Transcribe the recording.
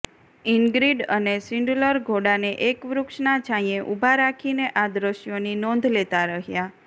ઇન્ગ્રીડ અને શિન્ડલર ઘોડાને એક વૃક્ષના છાંયે ઊભા રાખીને આ દૃશ્યોની નોંધ લેતાં રહ્યાં